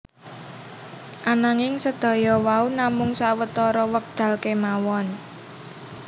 Ananging sedaya wau namung sawetara wekdal kemawon